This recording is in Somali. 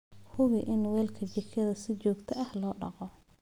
Hubi in weelka jikada si joogto ah loo dhaqo.